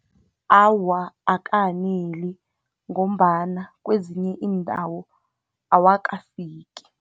Awa, akaneli, ngombana kwezinye iindawo awakafiki.